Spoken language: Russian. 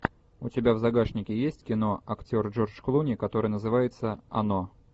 у тебя в загашнике есть кино актер джордж клуни которое называется оно